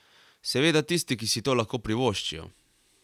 Seveda tisti, ki si to lahko privoščijo.